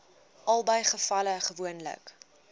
albei gevalle gewoonlik